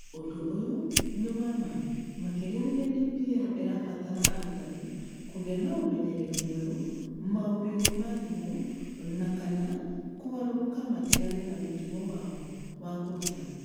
Ũndũ ũyũ nĩ wa ma makĩria rĩrĩa DPL ĩrabatara arutani kũgĩa na ũmenyeru mwerũ maũndũ-inĩ ma thimũ na/kana kũgarũrũka matigane na mũtugo wao wa kũruta.